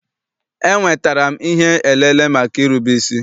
Enwetara m ihe elele maka irube isi.